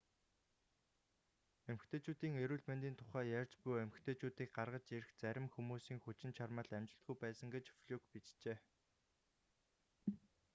эмэгтэйчүүдийн эрүүл мэндийн тухай ярьж буй эмэгтэйчүүдийг гаргаж ирэх зарим хүмүүсийн хүчин чармайлт амжилтгүй байсан гэж флюк бичжээ